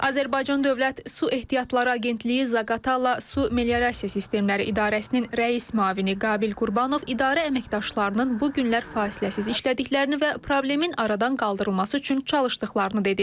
Azərbaycan Dövlət Su Ehtiyatları Agentliyi Zaqatala Su Meliorasiya Sistemləri İdarəsinin rəis müavini Qabil Qurbanov idarə əməkdaşlarının bu günlər fasiləsiz işlədiklərini və problemin aradan qaldırılması üçün çalışdıqlarını dedi.